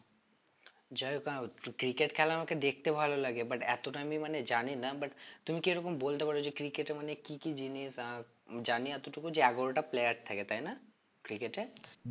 যাই হোক না cricket খেলা আমাকে দেখতে ভালো লাগে but এতটা আমি মানে জানি না but তুমি কি এরকম বলতে পারো যে cricket এ মানে কি কি জিনিস আহ জানি এতটুকু যে এগারোটা player থাকে তাই না cricket এ